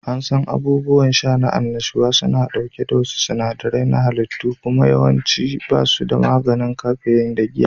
An san abubuwan sha na annashuwa suna ɗauke da wasu sinadarai na halitta kuma yawanci ba su da maganin kafeyin da giya